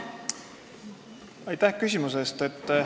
Aitäh küsimuse eest!